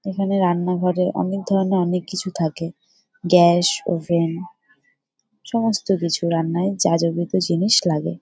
এইখানে রান্নাঘরে অনেক ধরণের অনেক কিছু থাকে। Gas oven. সমস্ত কিছু রান্নায় যা যাবতীয় জিনিস লাগে ।